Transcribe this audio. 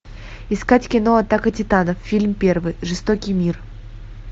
искать кино атака титанов фильм первый жестокий мир